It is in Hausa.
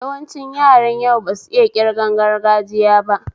Yawancin yaran yau basu iya ƙirgan gargajiya ba